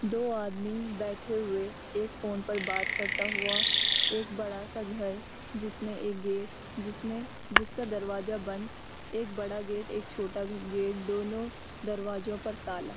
दो आदमी बैठे हुए एक फोन पर बात करता हुआ एक बड़ा-सा घर जिसमें एक गेट जिसमें जिसका दरवाजा बंद एक बड़ा गेट एक छोटा भी गेट दोनों दरवाजों पर ताला।